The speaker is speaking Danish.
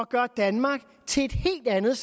gøre danmark til et helt andet